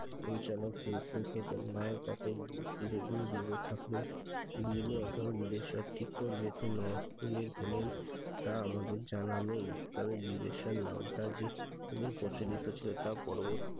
পরিচালক সেই সুখে তার মায়ের কাছে চিরদিন বিদে থাকলে বিলে অথবা বিদেশ ঠিক করবে তিনি হলেন তা আমাদের জানা নেই। তবে বিদেশের নামটা যে প্রচলিত ছিল তা পরবর্তী